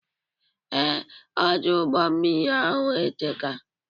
Ee, Ọdụ ụgbọ mmiri ahụ eteka